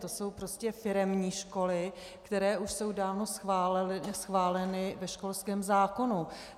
To jsou prostě firemní školy, které už jsou dávno schváleny ve školském zákonu.